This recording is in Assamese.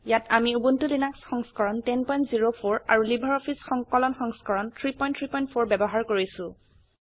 ইয়াত আমি উবুন্টু লিনাক্স সংস্ক ৰণ 1004 আৰু লাইব্ৰঅফিছ সংকলন সংস্ক ৰণ 334 ব্যবহাৰ কৰিছো